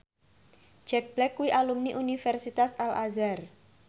Jack Black kuwi alumni Universitas Al Azhar